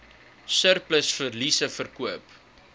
surplus verliese verkoop